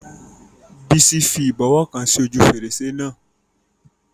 Bísí fi àwọn ìbọwọ́ kan sí ojú fèrèsé náà